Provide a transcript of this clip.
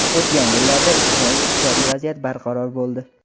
O‘tgan yillarda ijtimoiy-iqtisodiy vaziyat barqaror bo‘ldi.